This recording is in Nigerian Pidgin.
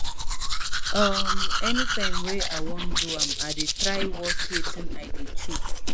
um anytime wey i wan do am i dey try watch wetin i dey chew